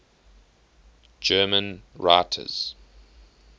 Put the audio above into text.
german writers